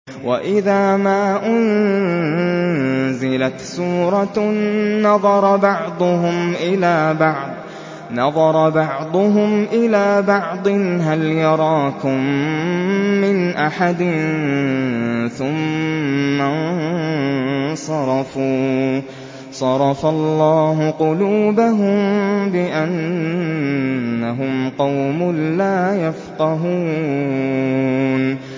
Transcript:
وَإِذَا مَا أُنزِلَتْ سُورَةٌ نَّظَرَ بَعْضُهُمْ إِلَىٰ بَعْضٍ هَلْ يَرَاكُم مِّنْ أَحَدٍ ثُمَّ انصَرَفُوا ۚ صَرَفَ اللَّهُ قُلُوبَهُم بِأَنَّهُمْ قَوْمٌ لَّا يَفْقَهُونَ